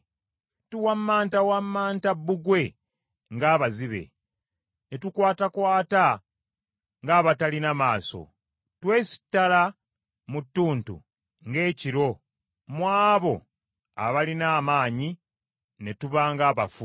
Tuwammantawammanta bbugwe ng’abazibe, ne tukwatakwata ng’abatalina maaso; twesittala mu ttuntu ng’ekiro mu abo abalina amaanyi ne tuba ng’abafu.